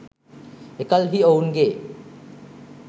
එකල්හි ඔවුන්ගේ